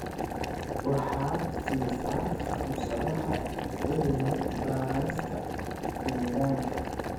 Waxaad siisaa fursadaha cilmi-baarista deegaanka.